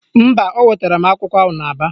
Mba, o wetara m akwa ahụ n'Aba